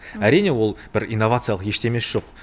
әрине ол бір инновациялық ештемесі жоқ